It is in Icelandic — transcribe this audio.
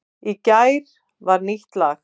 Í gær var nýtt lag